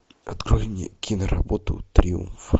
открой мне киноработу триумф